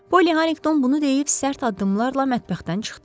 Poly Harinqton bunu deyib sərt addımlarla mətbəxdən çıxdı.